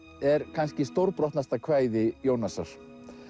er kannski stórbrotnasta kvæði Jónasar